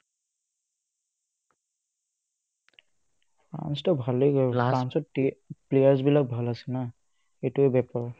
France টো ভালেই কৰিলে ফ্ৰান্সৰ টি playersবিলাক ভাল আছে না সেটোয়ে